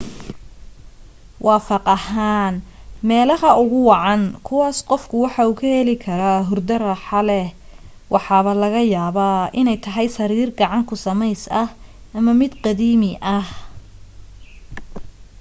waafaq ahaan meelaha ugu wacan kuwaas qofku waxa uu ka heli karaa hurdo raaxo leh waxaba laga yaabaa inay tahay sariir gacan ku samays ah ama mid qadiimi ah